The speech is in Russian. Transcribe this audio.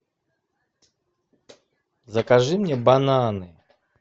закажи мне бананы